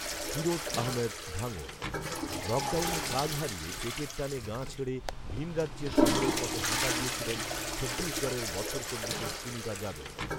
ফিরোজ আহমেদ, ভাঙড়, লকডাউনে কাজ হারিয়ে পেটের টানে গাঁ ছেড়ে ভিনরাজ্যের শহরের পথে হাঁটা দিয়েছিলেন ছত্তিশগঢ়ের বছর চব্বিশের সুনীতা যাদব